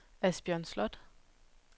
Asbjørn Slot